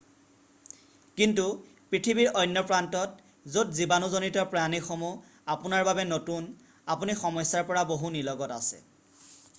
কিন্তু পৃথিৱীৰ অন্য প্ৰান্তত য'ত জীৱানুজনিত প্ৰাণীসমূহ আপোনাৰ বাবে নতুন আপুনি সমস্যাৰ পৰা বহু নিলগত আছে